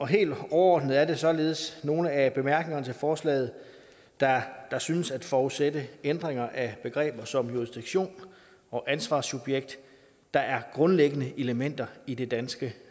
helt overordnet er det således nogle af bemærkningerne til forslaget der synes at forudsætte ændringer af begreber som jurisdiktion og ansvarssubjekt der er grundlæggende elementer i det danske